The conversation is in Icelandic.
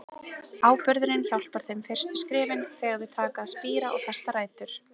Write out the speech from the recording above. Áburðurinn hjálpar þeim fyrstu skrefin, þegar þau taka að spíra og festa rætur.